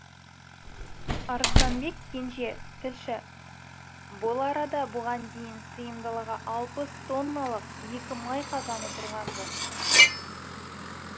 арыстанбек кенже тілші бұл арада бұған дейін сыйымдылығы алпыс тонналық екі май қазаны тұрған ды